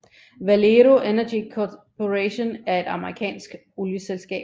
Valero Energy Corporation er et amerikansk olieselskab